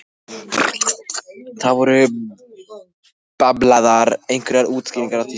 Það eru bablaðar einhverjar útskýringar á þýsku.